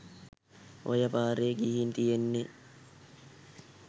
ඔය පාරේ ගිහින් තියෙන්නේ